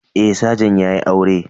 Eh sajan yayi aure